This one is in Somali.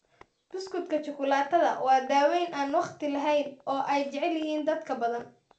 Buskudka shukulaatada waa daweyn aan wakhti lahayn oo ay jecel yihiin dad badan.